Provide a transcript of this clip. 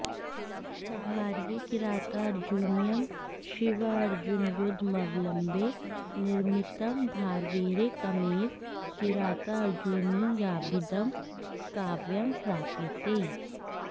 भारवेः किरातार्जुनीयम् शिवार्जुनयुध्दमवलम्ब्य निर्मितं भारवेरेकमेव किरातार्जुनीयाभिधं काव्यं प्राप्यते